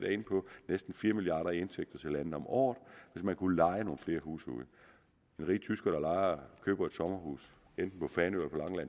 næsten fire milliard kroner i indtægter til landet om året hvis man kunne leje nogle flere huse ud men rige tyskere der køber et sommerhus enten på fanø